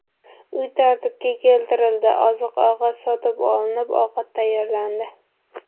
Uy tartibga keltirildi, oziq-ovqat sotib olinib, ovqat tayyorlandi.